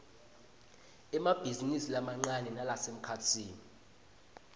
emabhizinisi lamancane nalasemkhatsini